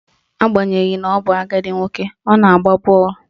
Agbanyeghi na ọ bụ agadi nwoke, ọ na-agba bọọlụ